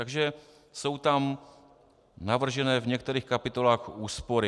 Takže jsou tam navržené v některých kapitolách úspory.